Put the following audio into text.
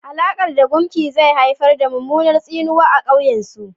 Halakar da gumki zai haifar da mummunar tsinuwa a kan ƙauyen su.